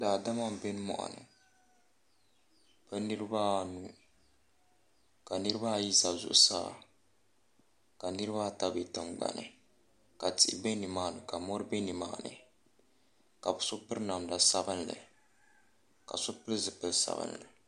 daadama n bɛ muɣini bɛ niribaanu ka niribaayi za zuɣ' saa ka niribaata bɛ tin gbani ka tihi bɛ ni maa ni kaori bɛni ka so pɛri namda sabilinli ka so piɛli zupiɛli sabinli